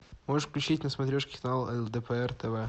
можешь включить на смотрешке канал лдпр тв